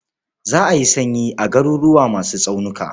Za a yi sanyi a garuruwa masu tsaunuka.